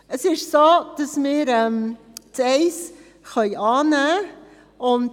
Es ist so, dass wir den Punkt 1 annehmen können.